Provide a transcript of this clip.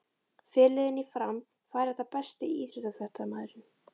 Fyrirliðinn í Fram fær þetta Besti íþróttafréttamaðurinn?